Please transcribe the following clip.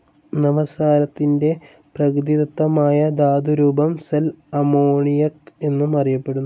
നവസാരത്തിൻ്റെ പ്രകൃതിദത്തമായ ധാതു രൂപം സൽ അമോണിയക് എന്നും അറിയപ്പെടുന്നു.